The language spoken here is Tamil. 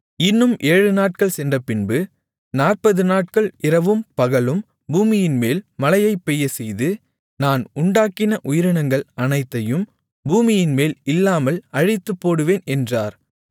இன்னும் ஏழுநாட்கள் சென்றபின்பு 40 நாட்கள் இரவும் பகலும் பூமியின்மேல் மழையைப் பெய்யச்செய்து நான் உண்டாக்கின உயிரினங்கள் அனைத்தையும் பூமியின்மேல் இல்லாமல் அழித்துப்போடுவேன் என்றார்